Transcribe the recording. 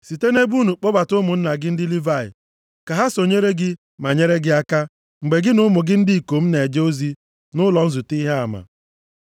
Site nʼebo unu kpọbata ụmụnna gị ndị Livayị ka ha sonyere gị ma nyere gị aka mgbe gị na ụmụ gị ndị ikom na-eje ozi nʼụlọ nzute Ihe Ama.